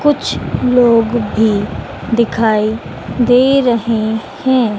कुछ लोग भीं दिखाई दे रहें हैं।